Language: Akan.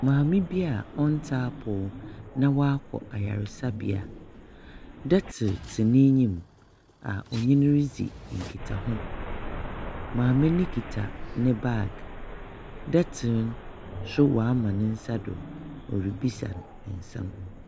Maame bi a ɔntse apɔw na wakɔ ayaresabea. Dotor tse n'enyim a ɔne no ridzi nkitaho. Maame no kita ne bag. Doctor no nso wama ne nsa do ɔrebisa no nsɛm.